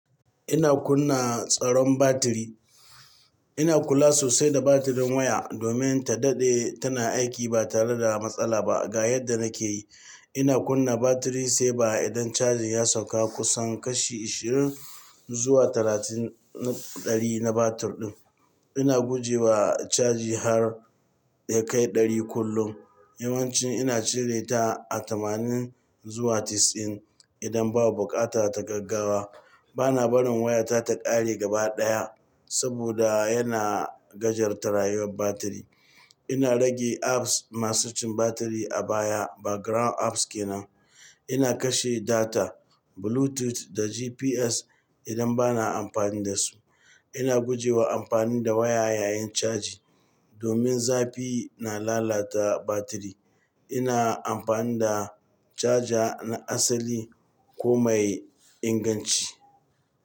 Ina kunna tsaron batiri. Ina kula sosai da batirin waya domin ta daɗe tana aiki ba tare da matsala ba. Ga yadda nake yi. Ina kunna batiri saver idan caji ya sauka kusan kashi 20 zuwa 30 na 100 na batir ɗin. Ina guje wa caji har ya kai 100 kullum. Yawanci ina cire ta a tamanin zuwa casa'in idan babu buƙata ta gaggawa. Bana barin waya ta ta ƙare gaba ɗaya saboda yana gajartar rayuwar batiri. Ina rage apps masu cin batiri a baya background apps kenan. Ina kashe data, bluetooth, da GPS idan bana amfani dasu. Ina guje wa amfani da waya yayin caji domin zafi na lalata batiri. Ina amfani da caja na asali ko mai inganci.